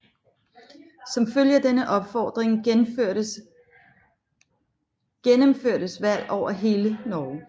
Som følge af denne opfordring gennemførtes valg over hele Norge